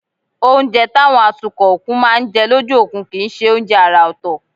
Oúnjẹ táwọn atukọ̀ òkun máa ń jẹ lójú òkun kì í ṣe oúnjẹ àrà ọ̀tọ̀